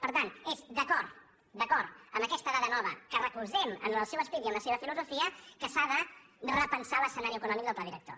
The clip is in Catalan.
per tant és d’acord amb aquesta dada nova que recolzem en el seu esperit i en la seva filosofia que s’ha de repensar l’escenari econòmic del pla director